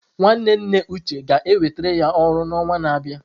Nwanne nne Uche ga-enwetara ya ọrụ n'ọnwa na-abịa.